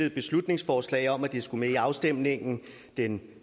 et beslutningsforslag om at det skulle med i afstemningen den